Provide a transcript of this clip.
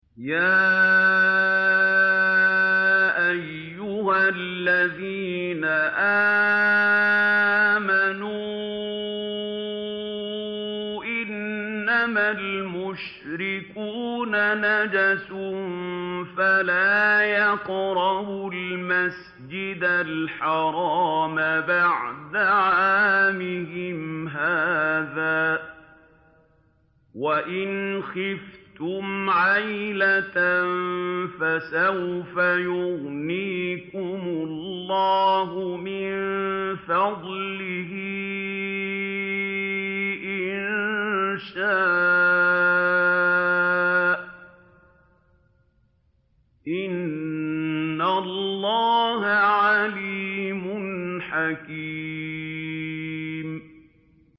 يَا أَيُّهَا الَّذِينَ آمَنُوا إِنَّمَا الْمُشْرِكُونَ نَجَسٌ فَلَا يَقْرَبُوا الْمَسْجِدَ الْحَرَامَ بَعْدَ عَامِهِمْ هَٰذَا ۚ وَإِنْ خِفْتُمْ عَيْلَةً فَسَوْفَ يُغْنِيكُمُ اللَّهُ مِن فَضْلِهِ إِن شَاءَ ۚ إِنَّ اللَّهَ عَلِيمٌ حَكِيمٌ